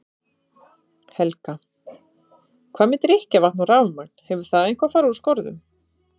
Helga: Hvað með drykkjarvatn og rafmagn, hefur það eitthvað fari úr skorðum?